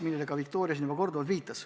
Viktoria viitas neile täna siin korduvalt.